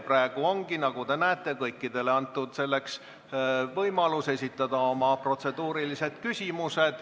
Praegu ongi, nagu te näete, antud kõikidele võimalus esitada protseduurilisi küsimusi.